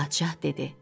Padşah dedi: